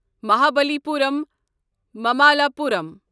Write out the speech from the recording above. Mahabalipuram Mamallapuram